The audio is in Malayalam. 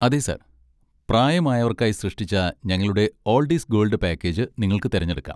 അതെ, സർ. പ്രായമായവർക്കായി സൃഷ്ടിച്ച ഞങ്ങളുടെ 'ഓൾഡ് ഈസ് ഗോൾഡ്' പാക്കേജ് നിങ്ങൾക്ക് തിരഞ്ഞെടുക്കാം.